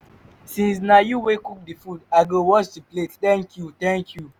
since na you wey cook the food i go wash the plate thank you thank you